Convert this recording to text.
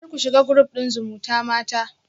Kar ku shiga group din zumutamata